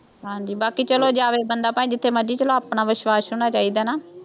ਹਾਂਜੀ ਬਾਕੀ ਚੱਲੋ ਜਾਵੇ ਬੰਦਾ ਭਾਵੇਂ ਜਿੱਥੇ ਮਰਜ਼ੀ ਚੱਲੋ ਆਪਣਾ ਵਿਸ਼ਵਾਸ਼ ਹੋਣਾ ਚਾਹੀਦਾ ਨਾ,